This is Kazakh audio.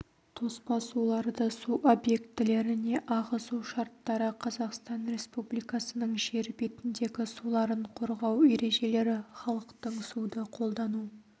тоспа суларды су объектілеріне ағызу шарттары қазақстан республикасының жер бетіндегі суларын қорғау ережелері халықтың суды қолдану